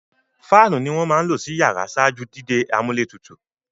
Fáànù ni wọ́n máa ń lò sí iyàrá ṣáájú dídé amúlétutù.